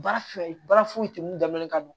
Baara filɛ baara foyi tɛ mun dalen ka don